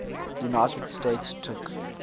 united states took